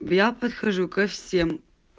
я подхожу ко всем